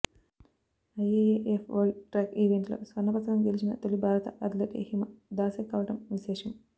IAAF world track ఈవెంట్లో స్వర్ణ పతకం గెలిచిన తొలి భారత అథ్లెట్ హిమ దాసే కావడం విశేషం